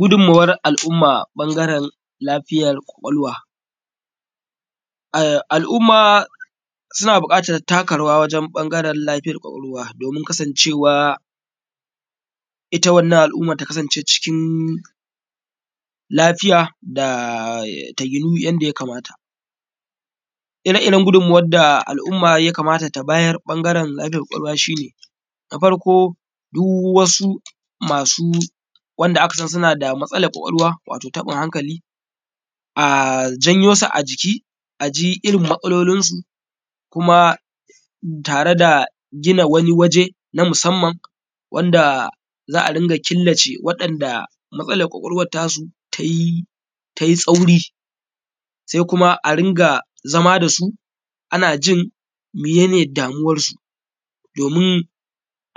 Gudummuwar al’umma bangaren lafiyar kwakwalwa. Al’umma suna buƙatan taka rawa wajen bangaren lafiyar kwakwalwa domin kasancewa ita wannan al’umma ta kasance cikin lafiya ta ginu yadda ya kamata. Ire iren yadda ya kamata al’umma ta bayar bangaren lafiyar kwakwalwa shi ne na farko duk wasu masu wanda aka san suna da matsalar lafiyar kwakwalwa wato taɓin hankali a janyosu a jiki aji irin matsalolinsu kuma tare da gina wani waje na musamman wanda za’a rinƙa killace waɗanda matsalar kwakwalwa tasu tai tsauri, sai kuma a rinƙa zama dasu ana jin mene ne damuwansu, domin